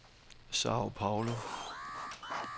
Sao Paulo